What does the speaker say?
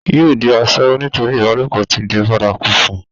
yóò di asẹ́wó nítorí ìbálòpọ̀ ti di bárakú fún un